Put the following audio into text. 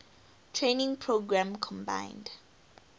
training program combined